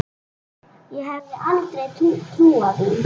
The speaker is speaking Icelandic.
Ég hefði aldrei trúað því.